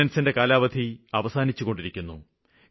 ഓര്ഡിനന്സിന്റെ കാലാവധി അവസാനിച്ചുകൊണ്ടിരിക്കുന്നു